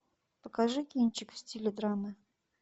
покажи кинчик в стиле драмы